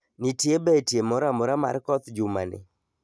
Nitie betie moro amora mar koth jumani